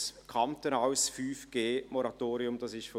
ein kantonales 5G-Moratorium ist also rechtlich gar nicht zulässig.